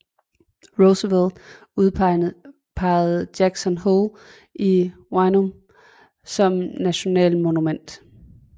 Roosevelt udpegede Jackson Hole i Wyoming som National Monument